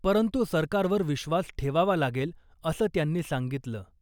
परंतु सरकारवर विश्वास ठेवावा लागेल , असं त्यांनी सांगितलं .